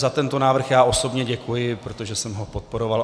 Za tento návrh já osobně děkuji, protože jsem ho podporoval.